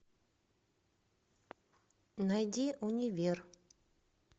найди универ